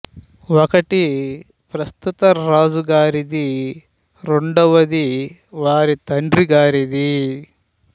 ఒకటి ప్రస్తుత రాజు గారిది రెండవది వారి తండ్రి గారిది